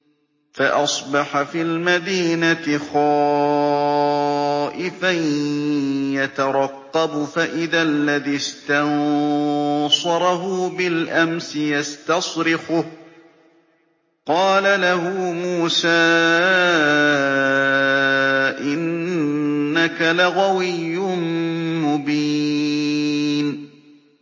فَأَصْبَحَ فِي الْمَدِينَةِ خَائِفًا يَتَرَقَّبُ فَإِذَا الَّذِي اسْتَنصَرَهُ بِالْأَمْسِ يَسْتَصْرِخُهُ ۚ قَالَ لَهُ مُوسَىٰ إِنَّكَ لَغَوِيٌّ مُّبِينٌ